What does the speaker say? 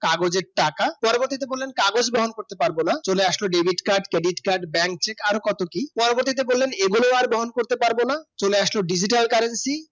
কাগজের টাকা পরবর্তীতে বললেন কাগজ গ্রহণ করতে পারবো না চলে আসলো debit card credit card bank check আরো কত কি পরবর্তীতে বললেন এগুলো আর গ্রহণ করতে পারবো না চলে আসলো digital currency